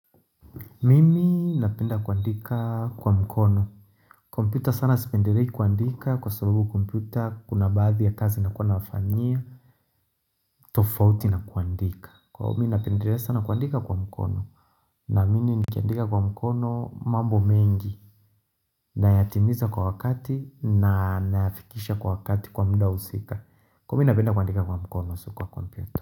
Mimi napenda kuandika kwa mkono. Kompyuta sana sipendilei kuandika kwa sababu kompyuta kuna baadhi ya kazi na kuwa na wafanyia. Tofauti na kuandika. Kwa hiyo napendelea sana kuandika kwa mkono. Na mimi ni kiandika kwa mkono mambo mengi. Nayatimiza kwa wakati na nayafikisha kwa wakati kwa muda husika. Kwa hiyomi napenda kuandika kwa mkono sio kwa komputa.